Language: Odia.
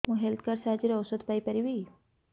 ମୁଁ ହେଲ୍ଥ କାର୍ଡ ସାହାଯ୍ୟରେ ଔଷଧ ପାଇ ପାରିବି